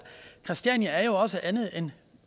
christiania jo også er andet end